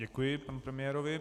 Děkuji panu premiérovi.